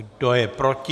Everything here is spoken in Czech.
Kdo je proti?